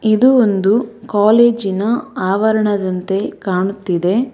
ಇದು ಒಂದು ಕಾಲೇಜಿನ ಆವರಣದಂತೆ ಕಾಣುತ್ತಿದೆ.